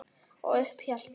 Og upp hélt ég.